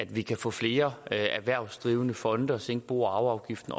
vi kan få flere erhvervsdrivende fonde og også sænke bo og arveafgiften